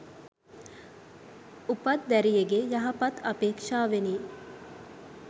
උපත් දැරියගේ යහපතත් අපේක්‍ෂාවෙනි.